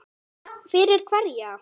Fyrir hverja